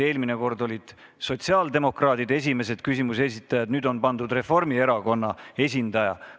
Eelmine kord olid sotsiaaldemokraadid esimesed küsimuse esitajad, nüüd on pandud Reformierakonna esindaja.